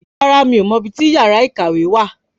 Rárá miò mọ ibi tí yàrá ìkàwé wà